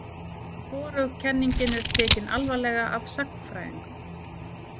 Hvorug kenningin er tekin alvarlega af sagnfræðingum.